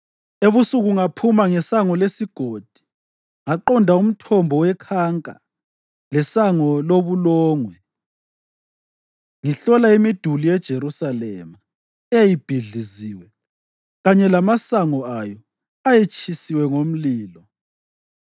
Ebusuku ngaphuma ngeSango leSigodi ngaqonda uMthombo weKhanka leSango loBulongwe, ngihlola imiduli yeJerusalema, eyayibhidliziwe, kanye lamasango ayo ayetshiswe ngomlilo.